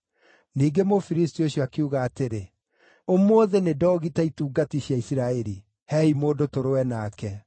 Ningĩ Mũfilisti ũcio akiuga atĩrĩ, “Ũmũthĩ nĩndoogita itungati cia Isiraeli! Heei mũndũ tũrũe nake.”